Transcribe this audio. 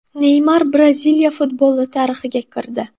Neymar Braziliya futboli tarixiga kirdi.